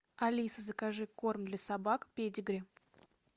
алиса закажи корм для собак педигри